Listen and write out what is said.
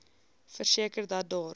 verseker dat daar